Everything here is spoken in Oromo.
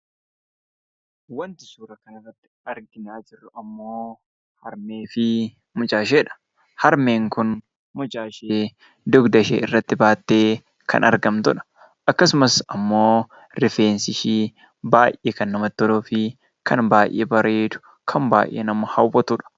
Waanti suura kanarratti arginaa jiru ammoo harmee fi mucaa isheedha. Harmeen kun mucaa ishee dugda ishee irratti baattee kan argamtudha. Akkasumas ammoo rifeensi ishii baay'ee kan namatti toluu fi kan baay'ee bareedu, kan baay'ee nama hawwatudha!